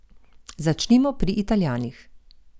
Začnimo pri Italijanih.